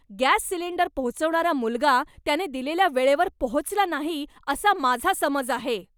Gas cylinder पोहोचवणारा मुलगा त्याने दिलेल्या वेळेवर पोहोचला नाही, असा माझा समज आहे.